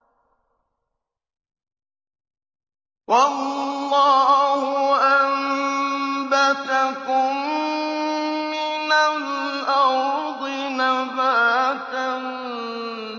وَاللَّهُ أَنبَتَكُم مِّنَ الْأَرْضِ نَبَاتًا